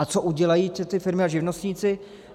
A co udělají ty firmy a živnostníci?